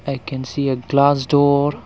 i can see a glass door.